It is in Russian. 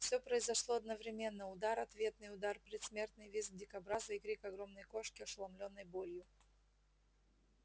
все произошло одновременноудар ответный удар предсмертный визг дикобраза и крик огромной кошки ошеломлённой болью